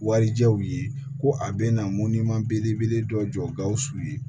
Warijɛw ye ko a bɛna mɔnni belebele dɔ jɔ gawusu ye